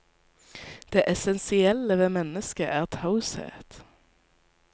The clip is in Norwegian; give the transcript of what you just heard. Det essensielle ved mennesket er taushet.